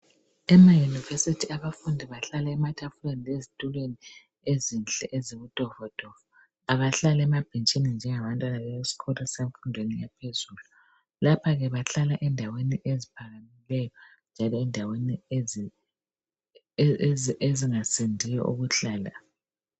Emayunivesithi abafundi bahlala ematafuleni lezitulweni ezinhle ezibutofotofo abahlali emabhentshini njengabantwana besikolo semfundweni yaphezulu. Lapha ke bahlala endaweni eziphakemeyo njalo ezingasindiyo ukuhlala.